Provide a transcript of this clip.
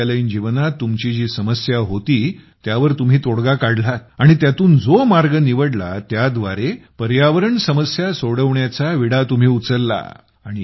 महाविद्यालयीन जीवनात तुमची जी समस्या होती त्यावर तुम्ही तोडगा काढलात आणि त्यातून जो मार्ग निवडला त्याद्वारे पर्यावरण समस्या सोडवण्याचा विडा तुम्ही उचलला